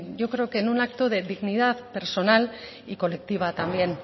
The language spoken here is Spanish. yo creo que en un acto de dignidad personal y colectiva también